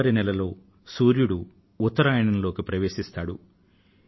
జనవరి లో సూర్యుడు ఉత్తరాయణంలోకి ప్రవేశిస్తాడు